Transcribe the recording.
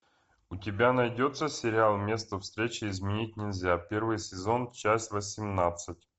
у тебя найдется сериал место встречи изменить нельзя первый сезон часть восемнадцать